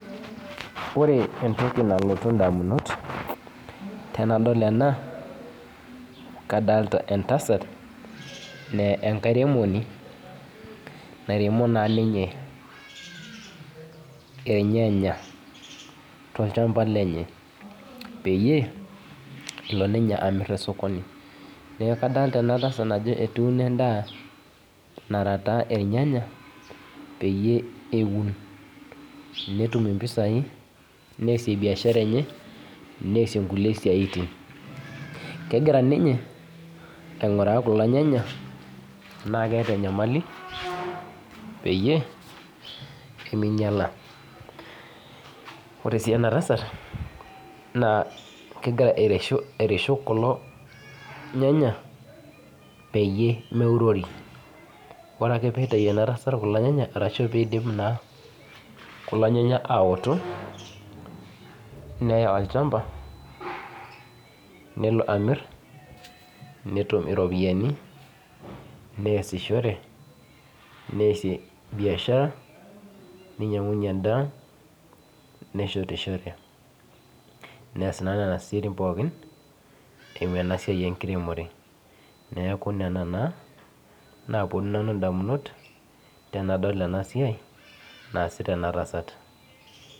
Ore entoki nalotu ndamunot tanadol ena kadolta entasat na enkairemoni nairemo na ninye irnyanya tolchamba lenye peyie elo ninye amir tosokoni neaku kadolta enatasa ajo etuuno endaa nara taa ornyanya peyie eun netum mpisai neasi biashara enye nesie nkulie siaitin kegira ninye ainguraa kulo nyanya ana keeta enyamali peyie minyala ore su enatasat kegira airishu kulo nyanya peyie meurori ore akepitau enatasat kulo nyanya ashu pidip kulo nyanya aoto neya olchamba nelo amir netum iropiyani neasishore neasie biashara ninyangunyie endaa neshetishore neas na nona siaitin pookin eimu enasia enkiremore neaku nona taa naponu ndamunot tanadol ena siai naasita enatasat.